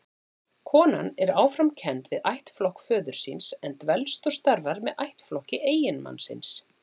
Konan er áfram kennd við ættflokk föður síns, en dvelst og starfar með ættflokki eiginmannsins.